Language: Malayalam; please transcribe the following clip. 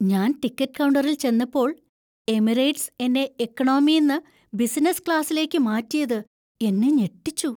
ഞാൻ ടിക്കറ്റ് കൌണ്ടറിൽ ചെന്നപ്പോൾ എമിറേറ്റ്സ് എന്നെ ഇക്കണോമീന്ന് ബിസിനസ് ക്ലാസിലേക്ക് മാറ്റിയത് എന്നെ ഞെട്ടിച്ചു.